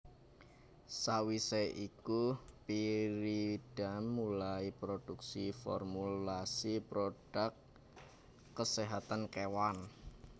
Sawisé iku Pyridam mulai produksi formulasi produk keséhatan kewan